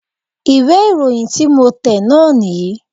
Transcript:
ìwé ìròyìn tí mo tẹ̀ náà nì yí